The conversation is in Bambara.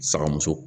Sakamuso